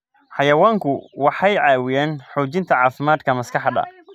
Xayawaanku waxay caawiyaan xoojinta caafimaadka maskaxda.